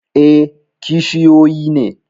E, kishiyoyi ne.?